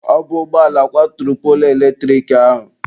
Ọ bụ ụgbọala kwaturu poolu eletrik ahụ.